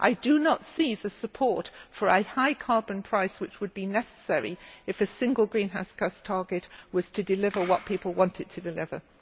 I do not see support for a high carbon price, which would be necessary if a single greenhouse gas target were to deliver what people want it to deliver.